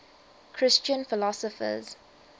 christian philosophers